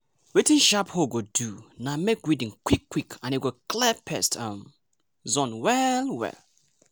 wetin sharp hoe go do na make weeding quick quick and e go clear pest um zone well well.